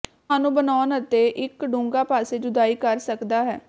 ਤੁਹਾਨੂੰ ਬਣਾਉਣ ਅਤੇ ਇੱਕ ਡੂੰਘਾ ਪਾਸੇ ਜੁਦਾਈ ਕਰ ਸਕਦਾ ਹੈ